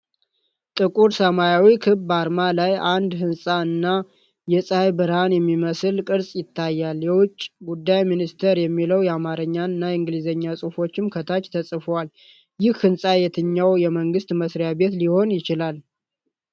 ጥቁር ሰማያዊ ክብ አርማ ላይ አንድ ሕንፃ እና የፀሐይ ብርሃን የሚመስል ቅርጽ ይታያል። "የውጭ ጉዳይ ሚኒስቴር" የሚለው የአማርኛና እንግሊዝኛ ጽሑፍም ከታች ተጽፏል። ይህ ሕንፃ የትኛው የመንግስት መስሪያ ቤት ሊሆን ይችላል?